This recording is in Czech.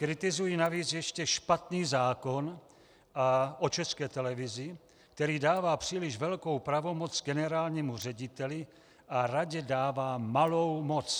Kritizuji navíc ještě špatný zákon o České televizi, který dává příliš velkou pravomoc generálnímu řediteli a radě dává malou moc.